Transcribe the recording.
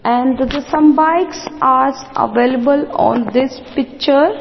and the some bikes are available on this picture.